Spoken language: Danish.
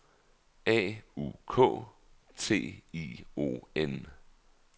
A U K T I O N